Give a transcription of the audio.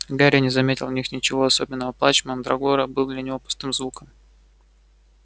гарри не заметил в них ничего особенного плач мандрагоры был для него пустым звуком